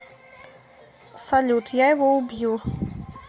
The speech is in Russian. салют я его убью